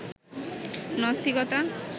নাস্তিকতা